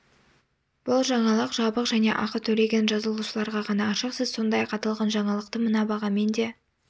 бұл жаңалық жабық және ақы төлеген жазылушыларға ғана ашық сіз сондай-ақ аталған жаңалықты мына бағамен де